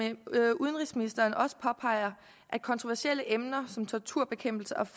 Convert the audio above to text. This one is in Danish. udenrigsministeren også påpeger at kontroversielle emner som torturbekæmpelse og